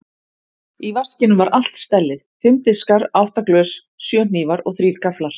Í vaskinum var allt stellið: Fimm diskar, átta glös, sjö hnífar og þrír gafflar.